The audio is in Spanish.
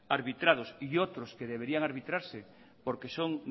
arbitrados y otros que deberían arbitrarse porque son